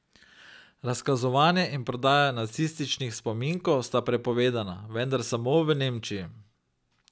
Razkazovanje in prodaja nacističnih spominkov sta prepovedana, vendar samo v Nemčiji.